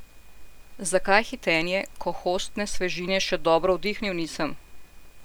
Zakaj hitenje, ko hostne svežine še dobro vdihnil nisem?